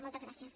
moltes gràcies